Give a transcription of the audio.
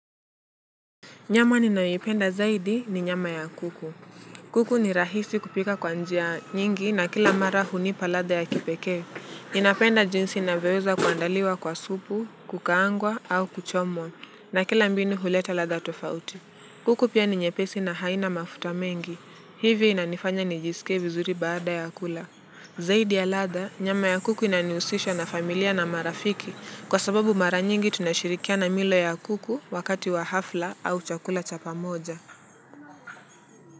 Nyama ninayoipenda zaidi ni nyama ya kuku. Kuku ni rahisi kupika kwa njia nyingi na kila mara hunipa ladha ya kipekee. Ninapenda jinsi inavyoweza kuandaliwa kwa supu, kukaangwa au kuchomwa na kila mbinu huleta ladha tofauti. Kuku pia ni nyepesi na haina mafuta mengi. Hivi inanifanya nijisike vizuri baada ya kula. Zaidi ya ladha, nyama ya kuku inaniusisha na familia na marafiki. Kwa sababu mara nyingi tunashirikiana milo ya kuku wakati wa hafla au chakula cha pamoja.